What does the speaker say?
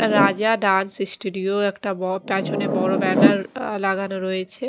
রাজা dance studio একটা ব পেছনে বড়ো ব্যানার আঃ লাগানো রয়েছে।